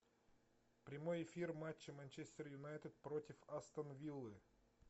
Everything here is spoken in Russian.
прямой эфир матча манчестер юнайтед против астон виллы